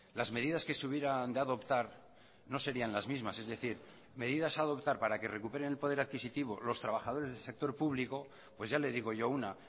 las medidas que se hubieran de adoptar no serían las mismas es decir medidas a adoptar para que recuperen el poder adquisitivo los trabajadores del sector público pues ya le digo yo una